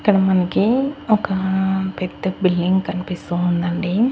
ఇక్కడ మనకి ఒకా పెద్ద బిల్డింగ్ కనిపిస్తూ ఉందండి.